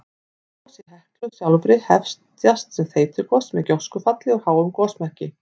Gos í Heklu sjálfri hefjast sem þeytigos með gjóskufalli úr háum gosmekki.